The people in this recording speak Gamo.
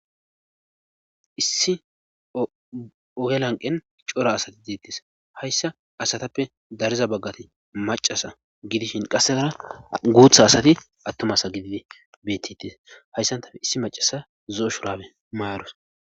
issi oge lanqqen cora asati deettees hayssa asatappe dariza baggati maccasa gidishin qassekara guutha asati attuma asa gididi beetettes hayssan ta issi maccasa zo7o shuraabe mayarus.